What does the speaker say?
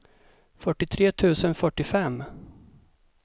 fyrtiotre tusen fyrtiofem